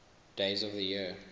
days of the year